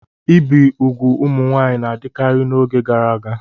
Ibi úgwù ụmụ nwaanyị na-adịkarị n'oge gara aga.